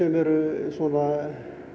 eru svona